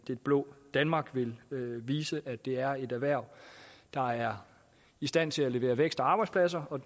det blå danmark vil vise at det er et erhverv der er i stand til at levere vækst og arbejdspladser og